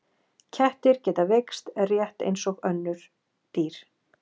kettir geta veikst rétt eins og öll önnur dýr